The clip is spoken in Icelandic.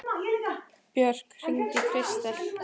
Björk, hringdu í Kristel.